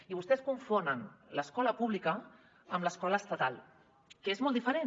i vostès confonen l’escola pública amb l’escola estatal que és molt diferent